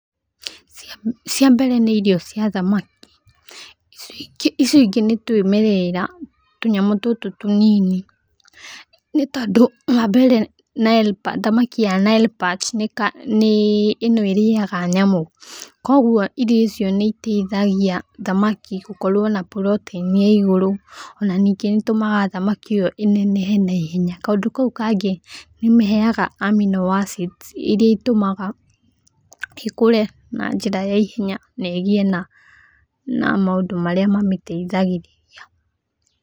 Cia mbere nĩ irio cia thamaki, icio ingĩ nĩ twĩmwerera, tũnyamũ tũtũ tũnini, nĩ tondũ wa mbere thamaki ya Nile Perch nĩ ĩno ĩrĩaga nyamũ, kũguo irio icio nĩ iteithagia thamaki gũkorwo na puroteini ya igũru, o na ningĩ nĩ ĩtũmaga thamaki ĩyo ĩnenehe na ihenya, kaũndũ kau kangĩ nĩ ĩmĩheaga amino acids iria itũmaga ikũre na njĩra ya ihenya na ĩgĩe na maũndũ marĩa mamĩteithagĩrĩria